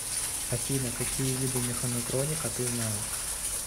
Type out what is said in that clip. афина какие виды механотроника ты знаешь